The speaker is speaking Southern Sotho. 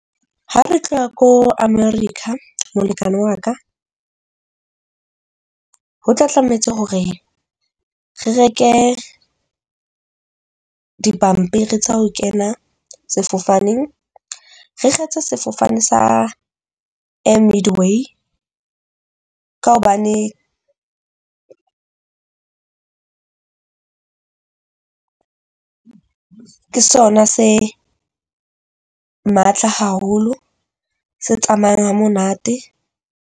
Ha re tloha ko America molekane wa ka, ho tla tlametse hore re reke dipampiri tsa ho kena sefofaneng, re kgethe sefofane sa air midway ka hobane ke sona se matla haholo, se tsamayang ha monate.